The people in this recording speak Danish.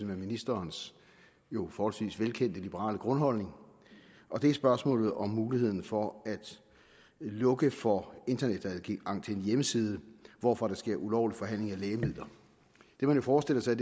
ministerens jo forholdsvis velkendte liberale grundholdning og det er spørgsmålet om mulighederne for at lukke for internetadgang til en hjemmeside hvorfra der sker ulovlig forhandling af lægemidler det man jo forestiller sig